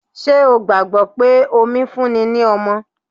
Ṣé o gbàgbọ́ pé omi fún ni ní ọmọ?